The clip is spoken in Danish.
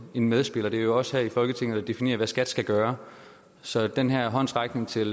en medspiller det er jo os her i folketinget der definerer hvad skat skal gøre så den her håndsrækning til